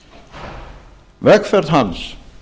íslendinga vegferð hans